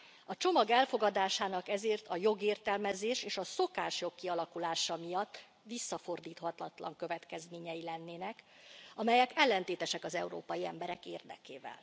A csomag elfogadásának ezért a jogértelmezés és a szokások kialakulása miatt visszafordíthatatlan következményei lennének, amelyek ellentétesek az európai emberek érdekével.